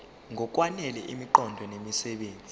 ngokwanele imiqondo nemisebenzi